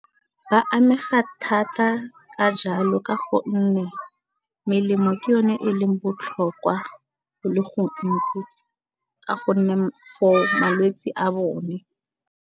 Ba amega thata ka jalo ka gonne melemo ke yone e leng botlhokwa le go ntsi ka gonne for malwetse a bone.